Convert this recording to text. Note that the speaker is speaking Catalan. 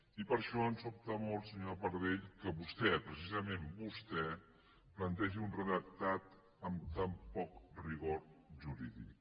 i per això ens sobta molt senyora pardell que vostè precisament vostè plantegi un redactat amb tan poc rigor jurídic